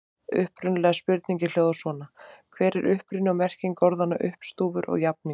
Upprunalega spurningin hljóðaði svona: Hver er uppruni og merking orðanna uppstúfur og jafningur?